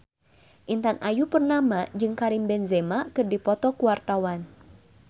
Intan Ayu Purnama jeung Karim Benzema keur dipoto ku wartawan